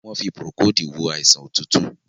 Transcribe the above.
wón fí Procold wọ àìsàn otutu.